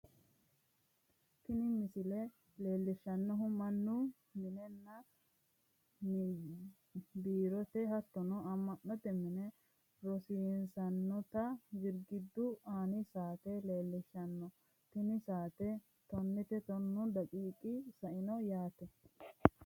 tini misile leelishshannohu mannu minenna biirote hattono amma'note mine horonsirannota girgiddu aani saate leellishshanno tni saateno tonnete tonnu daqiiqi saino yaate